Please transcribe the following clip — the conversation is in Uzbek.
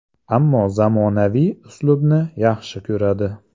Ammo zamonaviy uslubni yaxshi ko‘radi.